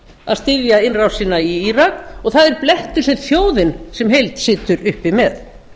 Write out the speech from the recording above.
að styðja innrásina í írak og það er blettur sem þjóðin sem heild situr uppi með